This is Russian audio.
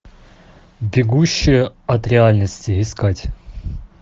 бегущая от реальности искать